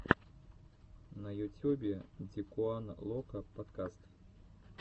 на ютюбе дикуан локо подкаст